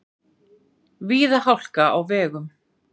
Víða hálka á vegum